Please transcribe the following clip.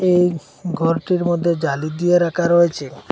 এই ঘরটির মধ্যে জালি দিয়ে রাখা রয়েছে।